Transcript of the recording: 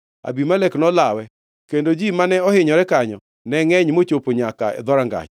Abimelek nolawe, kendo ji mane ohinyore kanyo ne ngʼeny mochopo nyaka e dhorangach.